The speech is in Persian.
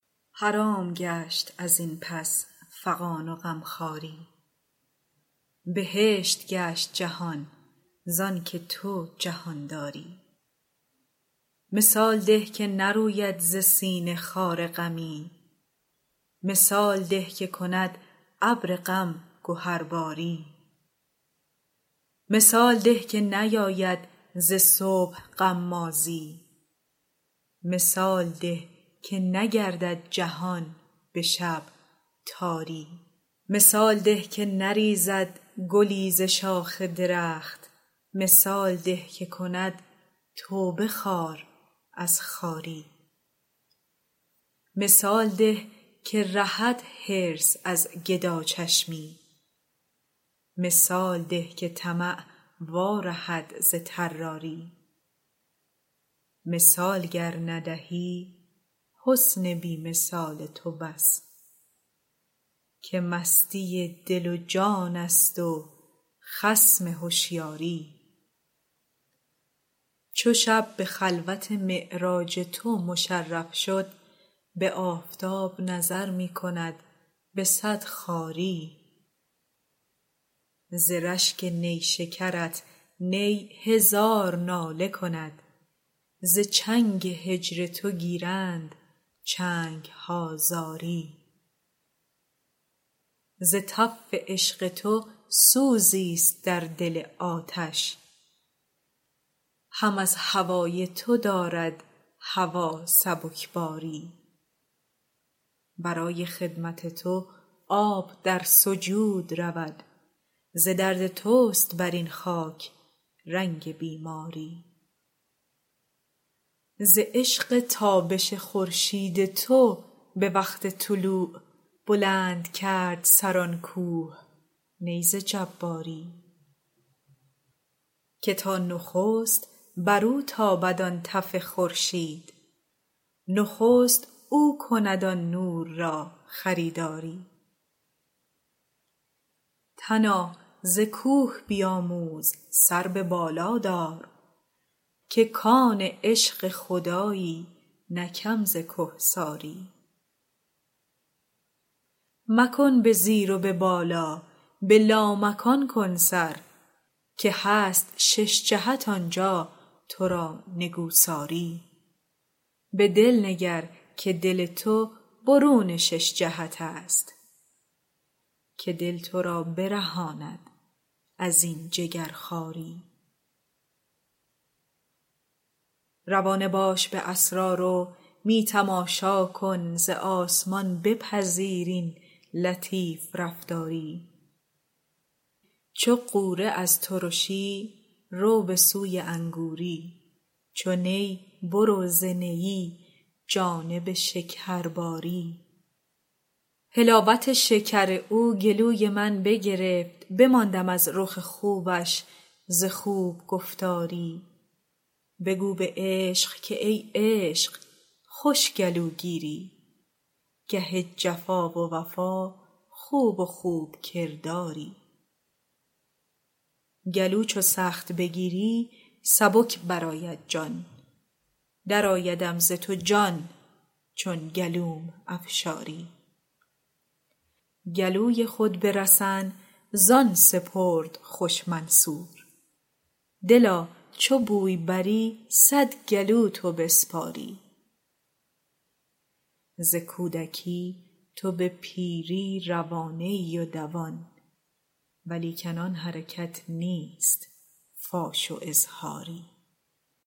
حرام گشت از این پس فغان و غمخواری بهشت گشت جهان زانک تو جهان داری مثال ده که نروید ز سینه خار غمی مثال ده که کند ابر غم گهرباری مثال ده که نیاید ز صبح غمازی مثال ده که نگردد جهان به شب تاری مثال ده که نریزد گلی ز شاخ درخت مثال ده که کند توبه خار از خاری مثال ده که رهد حرص از گداچشمی مثال ده که طمع وارهد ز طراری مثال گر ندهی حسن بی مثال تو بس که مستی دل و جانست و خصم هشیاری چو شب به خلوت معراج تو مشرف شد به آفتاب نظر می کند به صد خواری ز رشک نیشکرت نی هزار ناله کند ز چنگ هجر تو گیرند چنگ ها زاری ز تف عشق تو سوزی است در دل آتش هم از هوای تو دارد هوا سبکساری برای خدمت تو آب در سجود رود ز درد توست بر این خاک رنگ بیماری ز عشق تابش خورشید تو به وقت طلوع بلند کرد سر آن کوه نی ز جباری که تا نخست برو تابد آن تف خورشید نخست او کند آن نور را خریداری تنا ز کوه بیاموز سر به بالا دار که کان عشق خدایی نه کم ز کهساری مکن به زیر و به بالا به لامکان کن سر که هست شش جهت آن جا تو را نگوساری به دل نگر که دل تو برون شش جهت است که دل تو را برهاند از این جگرخواری روانه باش به اسرار و می تماشا کن ز آسمان بپذیر این لطیف رفتاری چو غوره از ترشی رو به سوی انگوری چو نی برو ز نیی جانب شکرباری حلاوت شکر او گلوی من بگرفت بماندم از رخ خوبش ز خوب گفتاری بگو به عشق که ای عشق خوش گلوگیری گه جفا و وفا خوب و خوب کرداری گلو چو سخت بگیری سبک برآید جان درآیدم ز تو جان چون گلوم افشاری گلوی خود به رسن زان سپرد خوش منصور دلا چو بوی بری صد گلو تو بسپاری ز کودکی تو به پیری روانه ای و دوان ولیکن آن حرکت نیست فاش و اظهاری